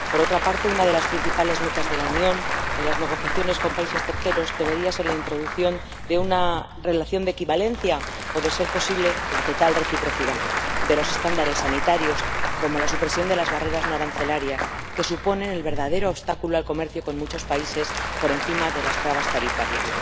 Por otra parte, una de las principales metas de la Unión en las negociaciones con países terceros debería ser la introducción de una relación de equivalencia o, a ser posible, la total reciprocidad de los estándares sanitarios, así como la supresión de las barreras no arancelarias, que constituyen el verdadero obstáculo al comercio con muchos países por encima de las barreras arancelarias.